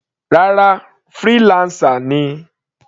Rárá, freelancer ni.